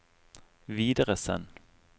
videresend